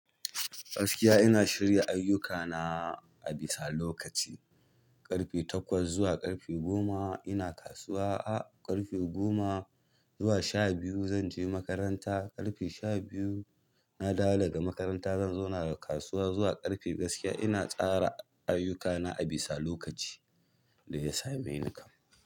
Gaskiya ina shirya ayyukana a bisa lokaci. Ƙarfe takwas zuwa ƙarfe goma ina kasuwa, a ƙarfe goma zuwa sha biyu zanje makaranta. Ƙarfe sha biyu na dawo daga makaranta zan zauna da kasuwa zuwa ƙarfe gaskiya ina tsara ayyukana a bisa lokaci da ya same ni kam.